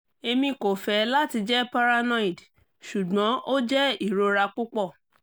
emi ko fẹ lati jẹ paranoid ṣugbọn o jẹ irora pupọ